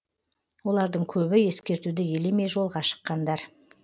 олардың көбі ескертуді елемей жолға шыққандар